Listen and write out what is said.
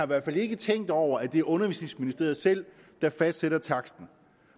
hvert fald ikke tænkt over at det her er undervisningsministeriet selv der fastsætter taksten